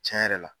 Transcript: Tiɲɛ yɛrɛ la